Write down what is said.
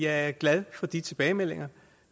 at jeg er glad for de tilbagemeldinger